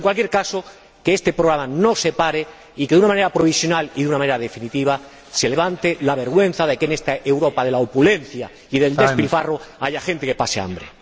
Pero, en cualquier caso, que este programa no se pare y que de una manera provisional y de una manera definitiva se levante la vergüenza de que en esta Europa de la opulencia y del despilfarro haya gente que pasa hambre.